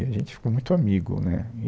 A gente ficou muito amigo, né, e